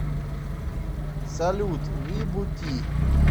салют вибути